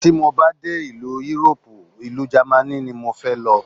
Tí mo bá dé ìlú Yúróòpù, ìlú Jámánì ni mo fẹ́ lọ.